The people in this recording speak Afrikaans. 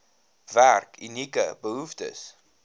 werk unieke behoeftes